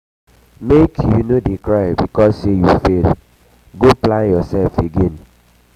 make um you no dey cry because sey you fail go plan um yoursef again.